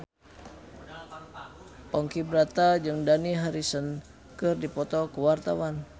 Ponky Brata jeung Dani Harrison keur dipoto ku wartawan